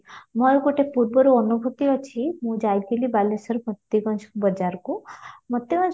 ମୋର ଗୋଟେ ପୂର୍ବରୁ ଅନୁଭୂତି ଅଛି ମୁଁ ଯାଇଥିଲି ବାଲେଶ୍ୱର ଭକ୍ତିବଞ୍ଚ ବଜାରକୁ ମୋତେ